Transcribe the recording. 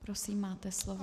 Prosím, máte slovo.